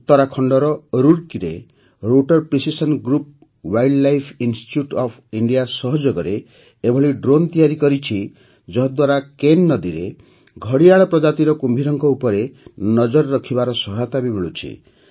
ଉତ୍ତରାଖଣ୍ଡର ରୁଡ଼କିରେ rotor precision groups wildlife institute of India ସହଯୋଗରେ ଏଭଳି ଡ୍ରୋନ୍ ତିଆରି କରିଛି ଯାହାଦ୍ୱାରା କେନ୍ ନଦୀରେ ଘଡ଼ିଆଳ ପ୍ରଜାତିର କୁମ୍ଭୀରଙ୍କ ଉପରେ ନଜର ରଖିବାରେ ସହାୟତା ମିଳୁଛି